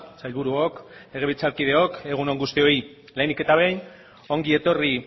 sailburuok legebiltzarkideok egun on guztioi lehenik eta behin ongi etorri